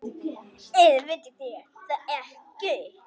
Eða vitið þér það ekki.